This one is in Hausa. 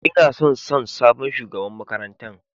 Ina son San sabon shugaban makarantan.